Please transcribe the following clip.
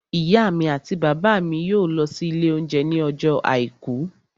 Ìyá mi àti bàbá mi yóò lọ sí ilé oúnjẹ ní ọjọ́ àìkú